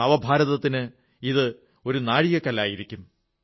നവഭാരതത്തിന് ഇത് ഒരു നാഴികക്കല്ലായിരിക്കും